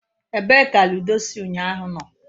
Ebee ka ludo si unyahu no?